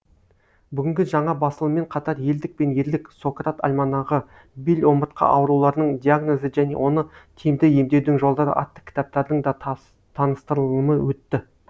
бүгінгі жаңа басылыммен қатар елдік пен ерлік сократ альманағы бел омыртқа ауруларының диагнозы және оны тиімді емдеудің жолдары атты кітаптардың да таныстырылымы өтті